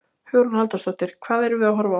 Hugrún Halldórsdóttir: Hvað erum við að horfa á?